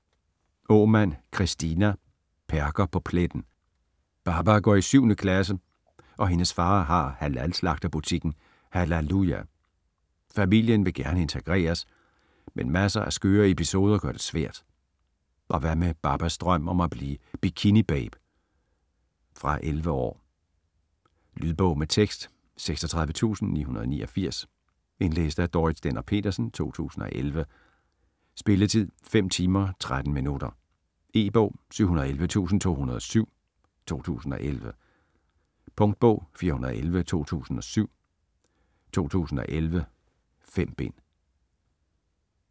Aamand, Kristina: Perker på pletten Baba går i 7. klasse og hendes far har halal-slagterbutikken "HALALuja". Familien vil gerne integreres, men masser af skøre episoder gør det svært. Og hvad med Babas drøm om at blive bikinibabe? Fra 11 år. Lydbog med tekst 36989 Indlæst af Dorrit Stender-Petersen, 2011. Spilletid: 5 timer, 13 minutter. E-bog 711207 2011. Punktbog 411207 2011. 5 bind.